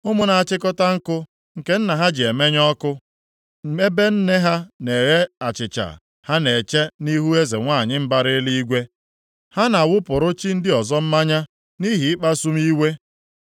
Ụmụ na-achịkọta nkụ nke nna ha ji emenye ọkụ, ebe nne ha na-eghe achịcha ha na-eche nʼihu Eze nwanyị mbara Eluigwe. Ha na-awụpụrụ chi ndị ọzọ mmanya nʼihi ịkpasu m iwe.